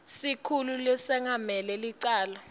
sikhulu lesengamele licala